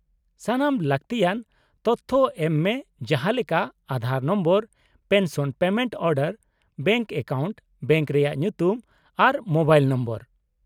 -ᱥᱟᱱᱟᱢ ᱞᱟᱹᱠᱛᱤᱭᱟᱱ ᱛᱚᱛᱷᱚ ᱮᱢ ᱢᱮ, ᱡᱟᱦᱟᱸ ᱞᱮᱠᱟ Aadhaar number, pension payment order, bank account, bank ᱨᱮᱭᱟᱜ ᱧᱩᱛᱩᱢ ᱟᱨ ᱢᱳᱵᱟᱭᱤᱞ ᱱᱚᱢᱵᱚᱨ ᱾